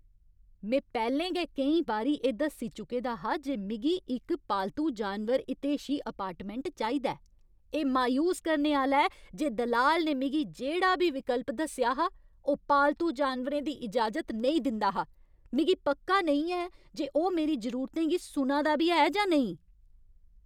में पैह्लें गै केईं बारी एह् दस्सी चुके दा हा जे मिगी इक पालतू जानवर हितेशी अपार्टमेंट चाहिदा ऐ। एह् मायूस करने आह्‌ला ऐ जे दलाल ने मिगी जेह्ड़ा बी विकल्प दस्सेआ हा, ओह् पालतू जानवरें दी इजाजत नेईं दिंदा हा। मिगी पक्का नेईं ऐ जे ओह् मेरी जरूरतें गी सुना दा बी ऐ जां नेईं।